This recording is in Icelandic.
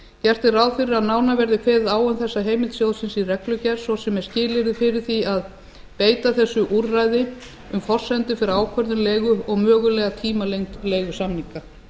gert er ráð fyrir að nánar verði kveðið á um þessa heimild sjóðsins í reglugerð svo sem með skilyrði fyrir því að beita þessu úrræði um forsendur fyrir ákvörðun leigu og mögulega tímalengd leigusamninga